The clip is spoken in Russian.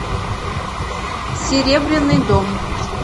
серебряный дом